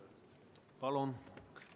Palun!